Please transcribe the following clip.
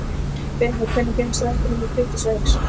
Bera, hvenær kemur strætó númer tuttugu og sex?